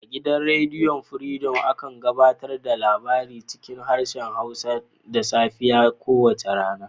A gidan rediyon furidom, akan gabatar da labarai cikin harshen Hausa da safiyar kowace rana.